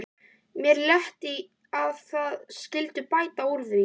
Mér létti að þið skylduð bæta úr því.